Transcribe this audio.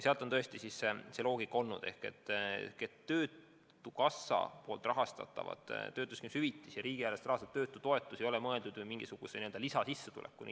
Töötukassa rahastatav töötuskindlustushüvitis ja riigieelarvest rahastatav töötutoetus ei ole ju mõeldud inimesele mingisuguse lisasissetulekuna.